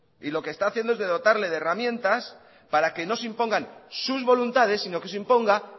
y lo que está haciendo es dotarle de herramientas para que no se impongan sus voluntades sino que se imponga